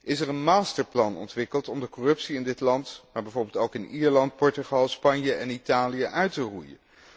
Is er een masterplan ontwikkeld om de corruptie in dit land, maar bijvoorbeeld ook in Ierland, Portugal, Spanje en Italië uit te roeien?